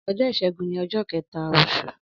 Ọjọ́ ìṣẹ́gun ni ọjọ́ kẹ̀ta oṣù.